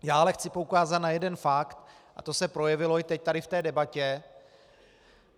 Já ale chci poukázat na jeden fakt, a to se projevilo i teď tady v té debatě.